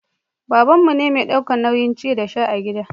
babanmu ne mai daukan nauyin ci da sha a gida